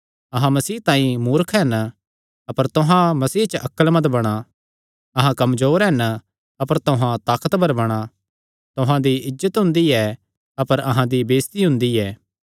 अहां मसीह तांई मूर्ख हन अपर तुहां मसीह च अक्लमंद बणा अहां कमजोर हन अपर तुहां ताकतवर बणा तुहां दी इज्जत हुंदी ऐ अपर अहां दी बेइज्जती हुंदी ऐ